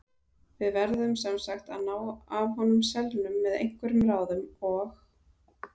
Við verðum sem sagt að ná af honum selnum með einhverjum ráðum OG